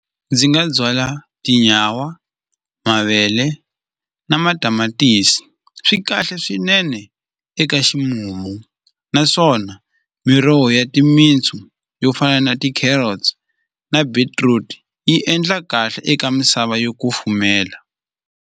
Ndzi nga byala tinyawa mavele na matamatisi swi kahle swinene eka ximumu naswona miroho ya timintsu yo fana na ti-carrots na beetroot yi endla kahle eka misava yo kufumela.